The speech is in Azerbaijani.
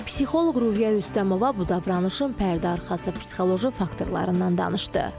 Psixoloq Ruhiyyə Rüstəmova bu davranışın pərdəarxası psixoloji faktorlarından danışdı.